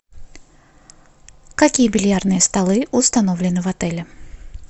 какие бильярдные столы установлены в отеле